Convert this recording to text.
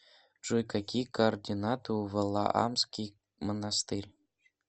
джой какие координаты у валаамский монастырь